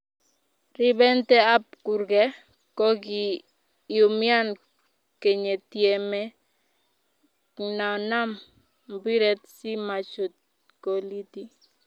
Ribente kab kurke ko kiumian kiyetieme knaman mapiret si machut kolit.